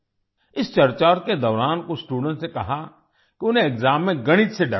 इस चर्चा के दौरान कुछ स्टूडेंट्स ने कहा कि उन्हें एक्साम में गणित से डर लगता है